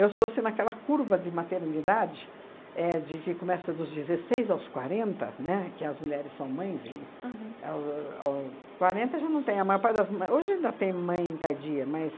sou, assim, naquela curva de maternidade, éh de que começa dos dezesseis aos quarenta, né, que as mulheres são mães, ao ao quarenta já não tem, a maior parte das mã, hoje ainda tem mãe tardia, mas